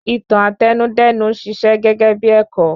Ìtàn Àtẹnudẹ́nu n ṣiṣẹ́ gégébí ẹ̀kọ́.